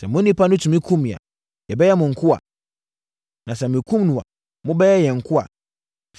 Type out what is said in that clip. Sɛ mo onipa no tumi kum me a, yɛbɛyɛ mo nkoa. Na sɛ mekum no a, mobɛyɛ yɛn nkoa.”